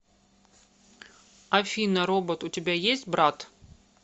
афина робот у тебя есть брат